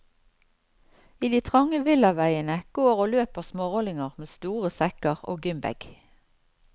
I de trange villaveiene går og løper smårollinger med store sekker og gymbag.